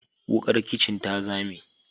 Wukar kicin ta zame.